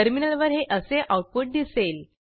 टर्मिनलवर हे असे आऊटपुट दिसेल